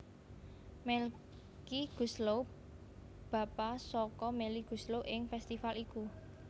Melky Goeslaw bapa saka Melly Goeslaw ing festifal iku